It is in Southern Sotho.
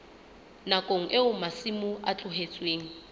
nakong eo masimo a tlohetsweng